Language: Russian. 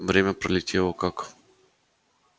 время пролетело как